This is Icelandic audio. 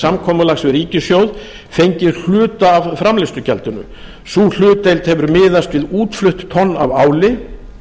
samkomulags við ríkissjóðs fengið hluta af framleiðslugjaldinu sú hlutdeild hefur miðast við útflutt tonn af áli